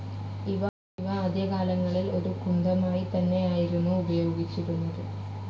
ഇവ ആദ്യകാലങ്ങളിൽ ഒരു കുന്തമായിത്തന്നെയായിരുന്നു ഉപയോഗിച്ചിരുന്നത്.